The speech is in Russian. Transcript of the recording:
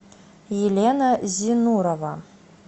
елена зинурова